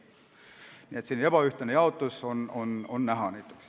Nii et on näha ebaühtlast jaotust.